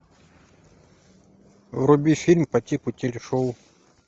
вруби фильм по типу телешоу